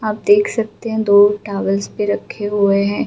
आप देख सकते हैं दो टावल्स पे रखे हुए है।